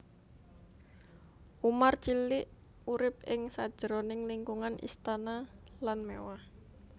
Umar cilik urip ing sajroning lingkungan istana lan mewah